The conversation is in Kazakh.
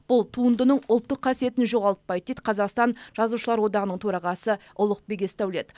бұл туындының ұлттық қасиетін жоғалтпайды дейді қазақстан жазушылар одағының төрағасы ұлықбек есдәулет